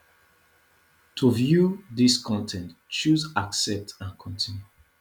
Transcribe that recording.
to view dis con ten t choose accept and continue